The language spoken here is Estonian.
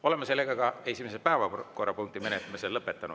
Oleme esimese päevakorrapunkti menetlemise lõpetanud.